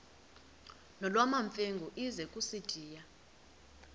nolwamamfengu ize kusitiya